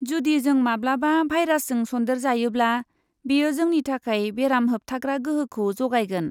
जुदि जों माब्लाबा भाइरासजों सन्देरजायोब्ला बेयो जोंनि थाखाय बेराम होबथाग्रा गोहोखौ जगायगोन।